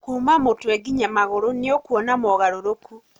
kuuma mũtwe nginya magũrũ nĩũkuona mogarũrũku